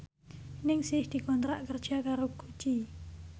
Ningsih dikontrak kerja karo Gucci